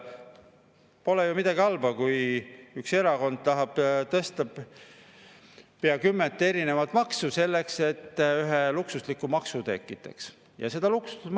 Pole ju midagi halba, kui üks erakond tahab tõsta pea kümmet erinevat maksu selleks, et üht luksuslikku.